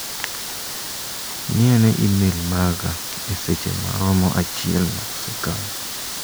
Ng'i ane imel maga e seche maromo achiel ma osekalo.